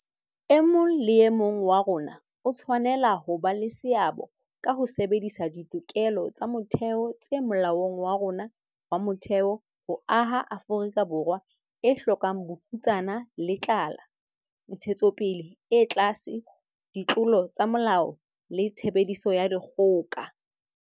E mong le e mong wa rona o tshwanela ho ba le seabo ka ho sebedisa ditokelo tsa motheo tse Molaong wa rona wa Motheo ho aha Afrika Borwa e hlokang bofutsana le tlala, ntshetsopele e tlase, ditlolo tsa molao le tshebediso ya dikgoka.